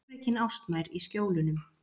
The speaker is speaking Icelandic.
Sjórekin ástmær í Skjólunum.